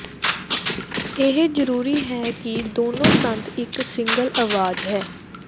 ਇਹ ਜ਼ਰੂਰੀ ਹੈ ਕਿ ਦੋਨੋ ਸੰਦ ਇੱਕ ਸਿੰਗਲ ਆਵਾਜ਼ ਹੈ